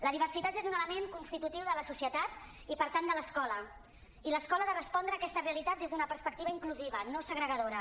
la diversitat és un element constitutiu de la societat i per tant de l’escola i l’escola ha de respondre a aquesta realitat des d’una perspectiva inclusiva no segregadora